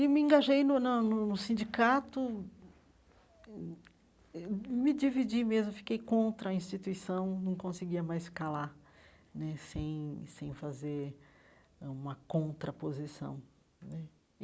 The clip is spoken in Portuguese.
E me engajei no na no sindicato, me dividi mesmo, fiquei contra a instituição, não conseguia mais ficar lá né, sem sem fazer ãh uma contraposição né.